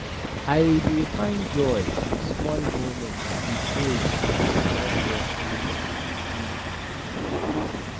I dey find joy in small moments with those I dey care for to lift my spirits.